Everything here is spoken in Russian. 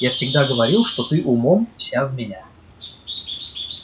я всегда говорил что ты умом вся в меня